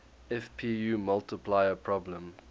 fpu multiplier problem